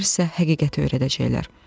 Onlar sizə həqiqəti öyrədəcəklər.